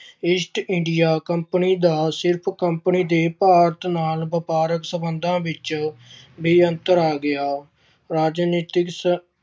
East India Company ਦਾ company ਦੇ ਭਾਰਤ ਨਾਲ ਵਪਾਰਕ ਸਬੰਧਾਂ ਵਿੱਚ ਵੀ ਅੰਤਰ ਆ ਗਿਆ। ਰਾਜਨੀਤਿਕ